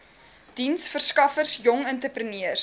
diensverskaffers jong entrepreneurs